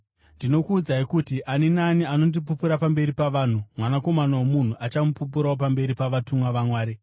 “Ndinokuudzai kuti, ani naani anondipupura pamberi pavanhu, Mwanakomana woMunhu achamupupurawo pamberi pavatumwa vaMwari.